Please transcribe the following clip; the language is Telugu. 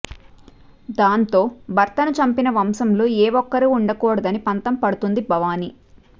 దాంతో భర్తను చంపిన వంశంలో ఏ ఒక్కరు ఉండకూడదని పంతం పడుతుంది భవానీ